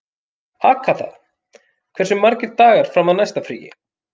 Agatha, hversu margir dagar fram að næsta fríi?